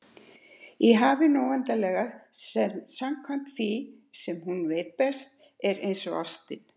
Í hafinu óendanlega, sem samkvæmt því sem hún veit best, er einsog ástin.